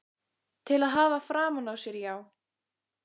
Til að hafa framan á sér, já.